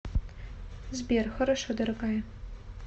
сбер хорошо дорогая